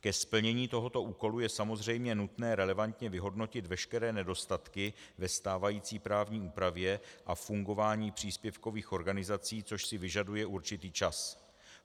Ke splnění tohoto úkolu je samozřejmě nutné relevantně vyhodnotit veškeré nedostatky ve stávající právní úpravě a fungování příspěvkových organizací, což si vyžaduje určitý čas.